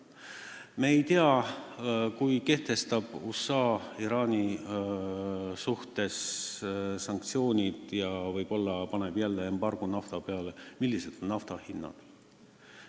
Me ei tea, milline on nafta hind, kui USA kehtestab Iraani vastu sanktsioonid ja võib-olla kehtestab jälle naftaembargo.